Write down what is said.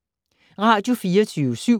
Radio24syv